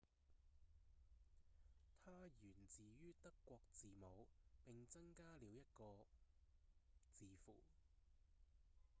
"它源自於德語字母並增加了一個 õ/õ 字符"